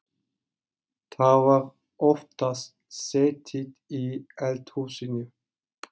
Það var oftast setið í eldhúsinu.